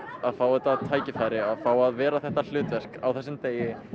að fá þetta tækifæri að fá að vera þetta hlutverk á þessum degi